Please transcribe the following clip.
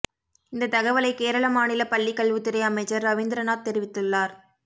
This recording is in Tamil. இந்த தகவலை கேரள மாநில பள்ளிக் கல்வித்துறை அமைச்சர் ரவீந்திரநாத் தெரிவித்துள்ளார்